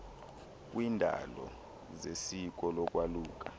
kwiiindawo zesiko lokwaluka